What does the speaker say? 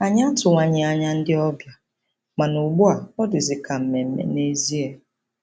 Anyị atụwaghị anya ndị ọbịa, mana ugbu a ọ dịzi ka mmemme nezie.